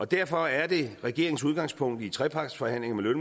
derfor er det regeringens udgangspunkt i trepartsforhandlingerne med